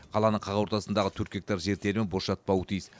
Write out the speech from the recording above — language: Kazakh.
қаланың қақ ортасындағы төрт гектар жер телімі бос жатпауы тиіс